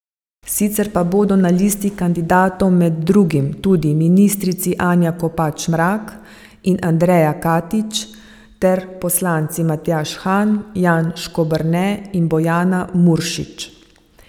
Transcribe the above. Sicer pa bodo na listi kandidatov med drugim tudi ministrici Anja Kopač Mrak in Andreja Katič ter poslanci Matjaž Han, Jan Škoberne in Bojana Muršič.